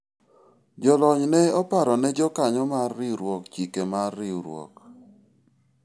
jolony ne oparo ne jokanyo mar riwruok chike mar riwruok